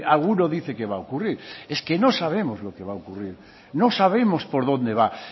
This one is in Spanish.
alguno dice que va a ocurrir es que no sabemos lo que va a ocurrir no sabemos por dónde va